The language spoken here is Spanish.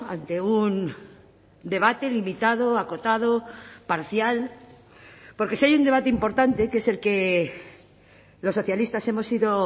ante un debate limitado acotado parcial porque si hay un debate importante que es el que los socialistas hemos ido